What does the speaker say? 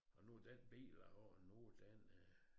Og nu den bil jeg har nu den øh